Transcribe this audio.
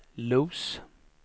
Los